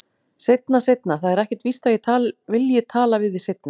Seinna, seinna, það er ekkert víst að ég vilji tala við þig seinna.